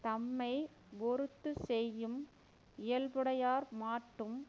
தம்மை யொறுத்துச் செய்யும் இயல்புடையார் மாட்டும்